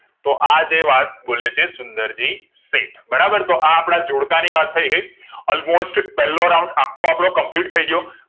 તો આજે વાત બોલે છે સુંદરજી શેઠ બરાબર તો આપડા જોડકા ની વાત થઇ ગઈ all most પેલો round આખો આપડો complete થઈ ગયો